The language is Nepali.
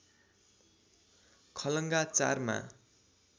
खलङ्गा ४ मा